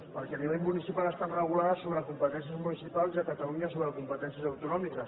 perquè a nivell municipal estan regulades sobre competències municipals i a catalunya sobre competències autonòmiques